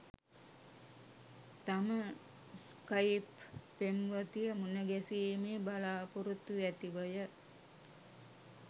තම ස්‌කයිප් පෙම්වතිය මුණගැසීමේ බලාපොරොත්තු ඇතිවය